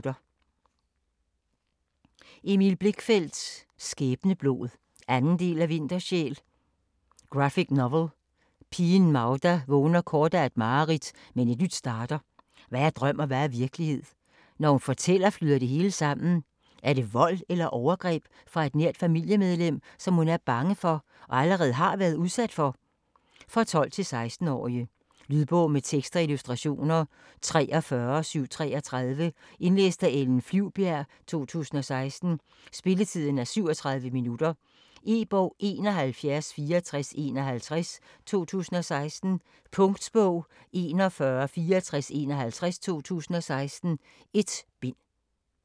Blichfeldt, Emil: Skæbneblod 2. del af Vintersjæl. Graphic novel. Pigen Magda vågner kort af et mareridt, men et nyt starter. Hvad er drøm og hvad er virkelighed? Når hun fortæller flyder det hele sammen. Er det vold eller overgreb fra et nært familiemedlem, som hun er bange for, og allerede har været udsat for? For 12-16 år. Lydbog med tekst og illustrationer 43733 Indlæst af Ellen Flyvbjerg, 2016. Spilletid: 0 timer, 37 minutter. E-bog 716451 2016. Punktbog 416451 2016. 1 bind.